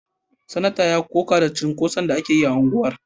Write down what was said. Sanatan ya koka da cunkoson da ake yi a unguwar